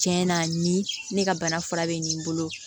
Tiɲɛ na ni ne ka bana fura bɛ nin bolo